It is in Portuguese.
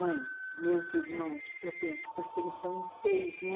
Mãe, meus irmãos, eu penso, porque eles são em seis, né?